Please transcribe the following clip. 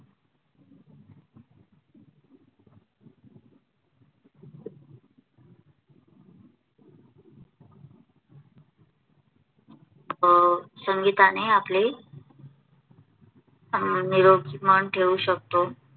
संगीताने आपले निरोगी मन ठेवू शकतो.